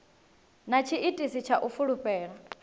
na tshiitisi tsha u fulufhela